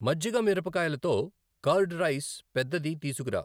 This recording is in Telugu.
మజ్జిగమిరపకాయలతో కర్డ్ రైస్ పెద్దది తీసుకురా